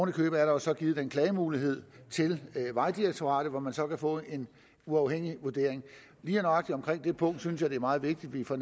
i købet er der så givet mulighed til vejdirektoratet hvor man så kan få en uafhængig vurdering lige nøjagtig omkring det punkt synes jeg det er meget vigtigt vi får